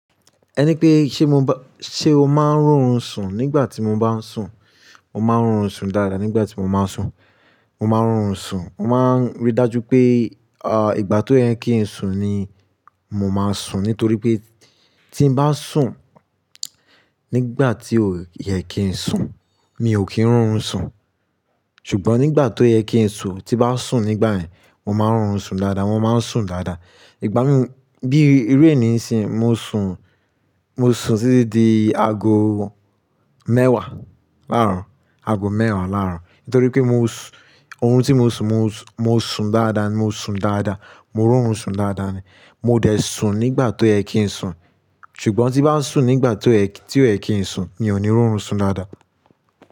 Ẹni pé ṣe mo ba, ṣe o máa ń ri orun sùn nígbà tí mo bá ń sùn? Mo máa ń ri orun sùn dáadáa nígbà tí mo máa ń sùn. Mo máa ń ri orun sùn. Mo máa ń rí dájú pé, à, ìgbà tó yẹ kí ń sùn ni mo máa sùn. Nítorí pé tí ń bá sùn nígbà tí ó yẹ kí ń sùn, mi ò kí ń ri orun sùn. Ṣùgbọ́n nígbà tó yẹ kí ń sùn, tí bá sùn nígbà yẹn, mọ máa ń ri orun sùn dáadáa, wọn máa ń sùn dáadáa. Ìgbà mí, bí iru eni ni ìsìn, mo sùn, mo sùn títí di ago mẹ́wàá láàárọ̀, ago mẹ́wàá láàárọ̀. Nítorí pé mo sùn, orun tí mo sùn, mo sùn dáadáa ni, mo sùn dáadáa, mo ń ri orun sùn dáadáa ni. Mo dẹ̀ sùn nígbà tó yẹ kí ń sùn. Ṣùgbọ́n tí bá ń sùn nígbà ti kó yẹ, tí ó yẹ kí ń sùn, mi ò ní ri orun sùn dáadáa.